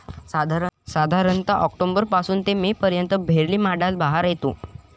साधारणतः ऑक्टोबर पासून ते में पर्यंत भेरली माडाला बहार येतो.